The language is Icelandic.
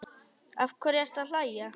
Af hverju ertu að hlæja?